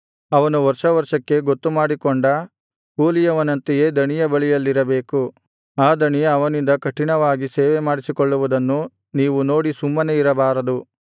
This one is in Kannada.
ಅವನು ವರ್ಷವರ್ಷಕ್ಕೆ ಗೊತ್ತುಮಾಡಿಕೊಂಡ ಕೂಲಿಯವನಂತೆಯೇ ದಣಿಯ ಬಳಿಯಲ್ಲಿರಬೇಕು ಆ ದಣಿ ಅವನಿಂದ ಕಠಿಣವಾಗಿ ಸೇವೆಮಾಡಿಸಿಕೊಳ್ಳುವುದನ್ನು ನೀವು ನೋಡಿ ಸುಮ್ಮನೆ ಇರಬಾರದು